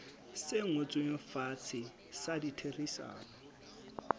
se ngotsweng fatshe sa ditherisano